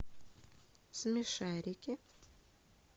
смешарики